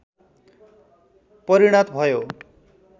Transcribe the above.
परिणत भयो